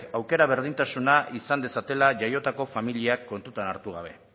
aukera berdintasuna izan dezatela jaiotako familiak kontutan hartu gabe